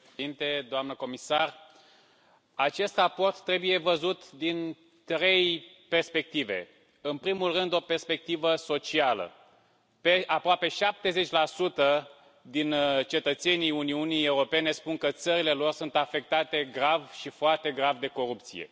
Domnule președinte, doamna comisar, acest raport trebuie văzut din trei perspective. În primul rând, o perspectivă socială aproape 70 din cetățenii Uniunii Europene spun că țările lor sunt afectate grav și foarte grav de corupție.